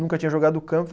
Nunca tinha jogado do campo.